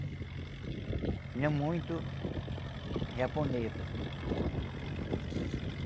Tinha muito japonês.